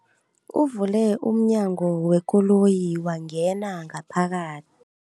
Uvule umnyango wekoloyi wangena ngaphakathi.